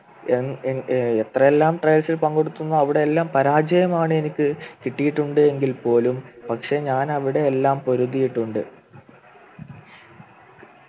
ഏർ ഏർ ഏർ എത്രയെല്ലാം Trails ൽ പങ്കെടുത്തുന്നു അവിടെയെല്ലാം പരാജയമാണ് എനിക്ക് കിട്ടിയിട്ടുണ്ട് എങ്കിൽ പോലും പക്ഷേ ഞാൻ അവിടെയെല്ലാം പൊരുതിയിട്ടുണ്ട്